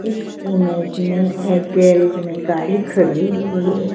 इस इमेज में एक गैरेज में गाड़ी खड़ी हुई है।